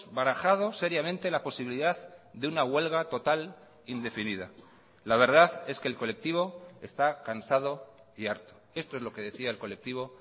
barajado seriamente la posibilidad de una huelga total indefinida la verdad es que el colectivo está cansado y harto esto es lo que decía el colectivo